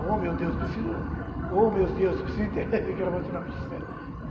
Ô, meu Deus, preciso... Ô, meus Deus, preciso entender o que que era seu nome, Gisela.